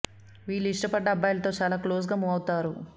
వీళ్లు ఇష్టపడ్డ అబ్బాయిలతో చాలా క్లోజ్ గా మూవ్ అవుతారు